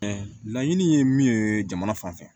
laɲini ye min ye jamana fan fɛ